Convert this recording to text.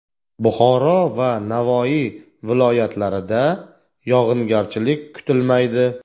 Buxoro va Navoiy viloyatlarida yog‘ingarchilik kutilmaydi.